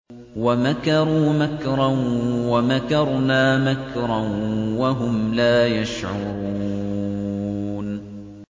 وَمَكَرُوا مَكْرًا وَمَكَرْنَا مَكْرًا وَهُمْ لَا يَشْعُرُونَ